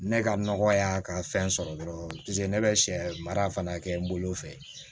Ne ka nɔgɔ y'a ka fɛn sɔrɔ dɔrɔn ne bɛ sɛ mara fana kɛ n bolo fɛ